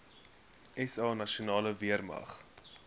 sa nasionale weermag